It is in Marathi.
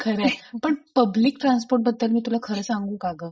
खरंय पण पब्लिक ट्रान्सपोर्ट बद्दल मी तुला खरं सांगू का ग?